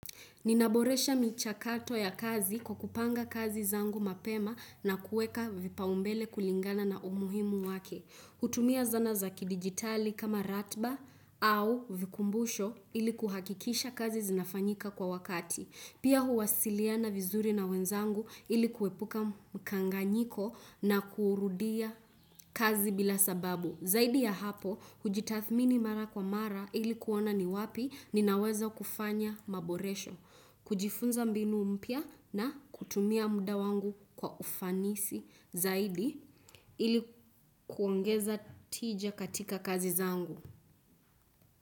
Ninaboresha michakato ya kazi kwa kupanga kazi zangu mapema na kueka vipao mbele kulingana na umuhimu wake. Kutumia zana za ki digitali kama ratiba au vikumbusho ili kuhakikisha kazi zinafanyika kwa wakati. Pia huwasiliana vizuri na wenzangu ili kuepuka mkanganyiko na kurudia kazi bila sababu. Zaidi ya hapo, hujitathmini mara kwa mara ili kuona ni wapi ninaweza kufanya maboresho. Kujifunza mbinu mpya na kutumia muda wangu kwa ufanisi zaidi ili kuongeza tija katika kazi zangu.